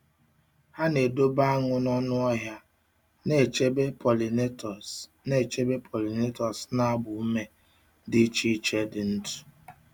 Ha na-edobe aṅụ n'ọnụ ọhịa, na-echebe pollinators na-echebe pollinators na-agba ume dị iche iche dị ndụ.